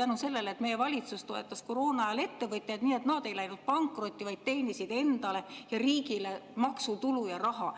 tänu sellele, et meie valitsus toetas koroonaajal ettevõtjaid, nii et nad ei läinud pankrotti, vaid teenisid endale ja riigile maksutulu ja raha.